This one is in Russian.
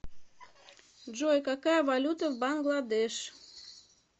джой какая валюта в бангладеш